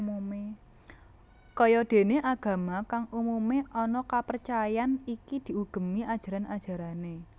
Kaya déné agama kang umumé ana kapercayan iki diugemi ajaran ajarané